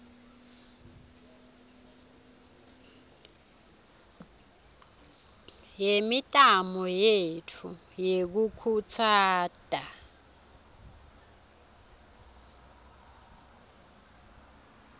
yemitamo yetfu yekukhutsata